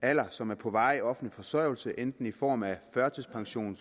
alder som er på varig offentlig forsørgelse enten i form af førtidspension